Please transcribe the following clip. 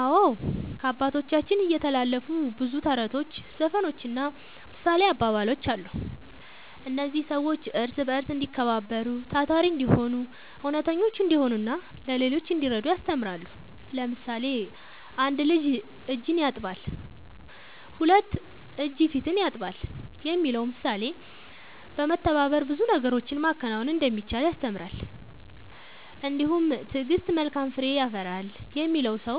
አዎ፣ ከአባቶቻችን የተላለፉ ብዙ ተረቶች፣ ዘፈኖችና ምሳሌያዊ አባባሎች አሉ። እነዚህ ሰዎች እርስ በርስ እንዲከባበሩ፣ ታታሪ እንዲሆኑ፣ እውነተኞች እንዲሆኑና ለሌሎች እንዲረዱ ያስተምራሉ። ለምሳሌ፣ ‘አንድ እጅ እጅን ያጥባል፣ ሁለት እጅ ፊትን ያጥባል’ የሚለው ምሳሌ በመተባበር ብዙ ነገሮችን ማከናወን እንደሚቻል ያስተምራል። እንዲሁም ‘ትዕግሥት መልካም ፍሬ ያፈራል’ የሚለው ሰው